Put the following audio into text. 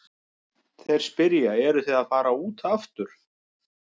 Þeir spyrja, eruð þið að fara út aftur?